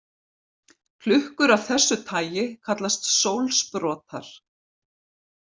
Klukkur af þessu tagi kallast sólsprotar.